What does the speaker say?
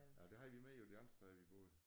Ja det havde de med jo det andet sted vi boede